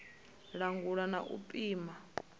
u langula na u pima